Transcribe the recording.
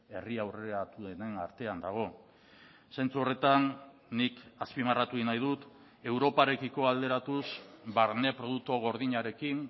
herri aurreratuenen artean dago zentzu horretan nik azpimarratu egin nahi dut europarekiko alderatuz barne produktu gordinarekin